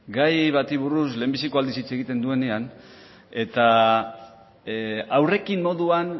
gai bati buruz lehendabiziko aldiz hitz egiten duenean eta aurrekin moduan